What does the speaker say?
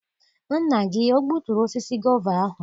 Nna gị o gbuturu osisi gova ahụ?